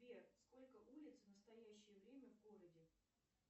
сбер сколько улиц в настоящее время в городе